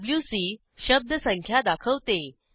WC शब्द संख्या दाखवते